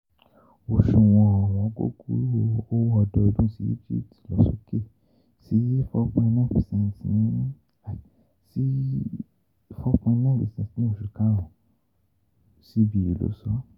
Oṣuwọn ọ̀wọ́ngógó owo ọdọọdún sí Egypt lọ soke si four point nine per cent ní sí four point nine fún oṣù Karùn-ún: CBE ló sọ ọ́